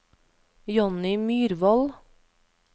Johnny Myrvold